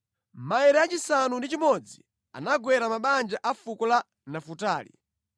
Maere achisanu ndi chimodzi anagwera mabanja a fuko la Nafutali.